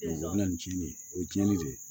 an bɛ nin ji nin o ye cɛnni de ye